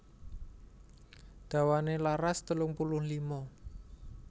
Dawané laras telung puluh lima